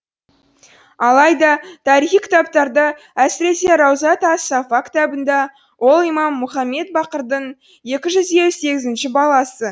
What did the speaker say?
алайда тарихи кітаптарда әсіресе раузат ас сафа кітабында ол имам мұхаммед бақырдың екі жүз елу сегізінші баласы